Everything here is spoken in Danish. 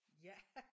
Ja